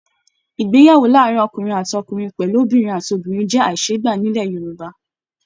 Ìgbéyàwó láàárín ọkùnrin àti ọkùnrin pẹlú Obìnrin àti obìnrin jẹ aiseegba nilẹ̀ Yorùbá.